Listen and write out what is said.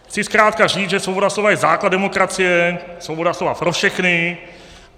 Chci zkrátka říct, že svoboda slova je základ demokracie, svoboda slova pro všechny.